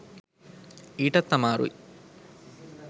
ඊටත් අමාරුයි.